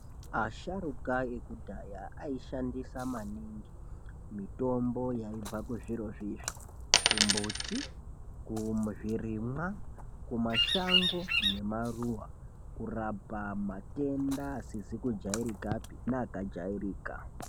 Asharukwa ekudhaya aishandisa maningi mitombo yaibva kuzviro zvizvi: kumbuti, kuzvirimwa, kumashango nekumaruwa kurapa matenda asizi kujairikapi neakajairika.